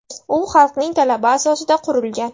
U xalqning talabi asosida qurilgan.